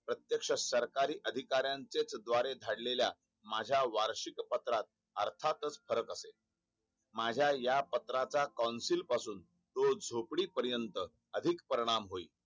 प्रत्यक्ष सरकारी अधिकाऱ्यांचेच द्वारे धाढलेल्या माझा वार्षिक पत्रात अर्थातच फरक असेल माझा या पत्राचा कॉउंसिल पासून ते झोपडी पर्यत अधिक परिणाम होईल